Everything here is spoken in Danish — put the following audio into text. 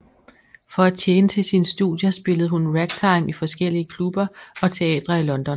For at tjene til sine studier spillede hun ragtime i forskellige klubber og teatre i London